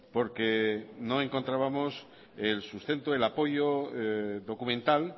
porque no encontrábamos el sustento el apoyo documental